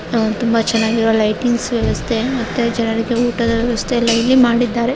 ತುಂಬಾ ಚೆನ್ನಾಗಿರುವ ಲೈಟಿಂಗ್ಸ್‌ ನ್ನು ವ್ಯವಸ್ಥೆ ಮತ್ತೆ ಊಟದ ವ್ಯವಸ್ಥೆ ಇಲ್ಲಿ ಮಾಡಿದ್ದಾರೆ.